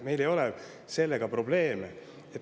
Meil ei ole sellega probleeme.